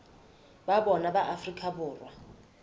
ba bona ba afrika borwa